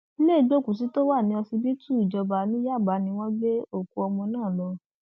ilé ìgbókùúsì tó wà ní ọsibítù ìjọba ní yábà ni wọn gbé òkú ọmọ náà lọ